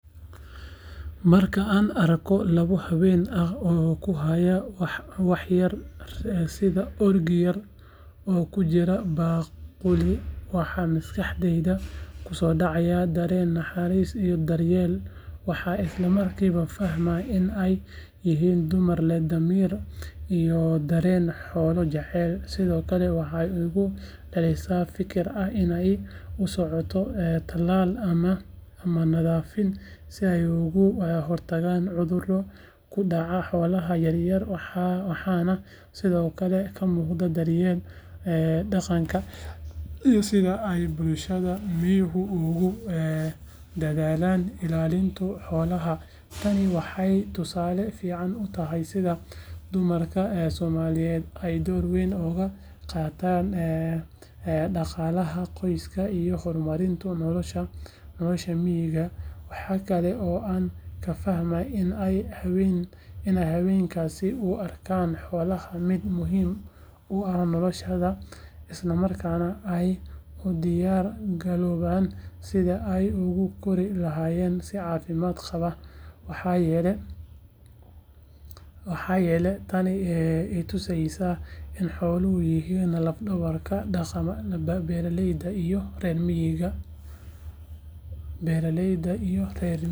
Marka aan arko laba haween ah oo ku haya waxyar sida orgi yar oo ku jira baaquli waxaa maskaxdayda kusoo dhacaya dareen naxariis iyo daryeel waxaan isla markiiba fahmaa in ay yihiin dumar leh damiir iyo dareen xoolo jaceyl sidoo kale waxay igu dhalisaa fikir ah in ay u socoto talaal ama nadaafin si ay uga hortagaan cudurro ku dhaca xoolaha yar yar waxaana sidoo kale ka muuqda daryeelka dhaqanka iyo sida ay bulshada miyigu ugu dadaalaan ilaalinta xoolahooda tani waxay tusaale fiican u tahay sida dumarka Soomaaliyeed ay door weyn uga qaataan dhaqaalaha qoyska iyo horumarinta nolosha miyiga waxa kale oo aan ka fahmaa in ay haweenkaasi u arkaan xoolaha mid muhiim u ah noloshooda isla markaana ay u diyaar garoobayaan sidii ay ugu kori lahaayeen si caafimaad qaba waxayna tani i tusaysaa in xooluhu yihiin laf dhabarta dhaqaalaha beeraleyda iyo reer miyiga.